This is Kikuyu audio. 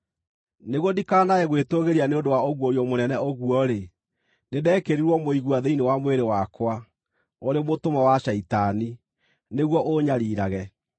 Nĩguo ndikanae gwĩtũũgĩria nĩ ũndũ wa ũguũrio mũnene ũguo-rĩ, nĩndekĩrirwo mũigua thĩinĩ wa mwĩrĩ wakwa, ũrĩ mũtũmwo wa Shaitani, nĩguo ũũnyariirage.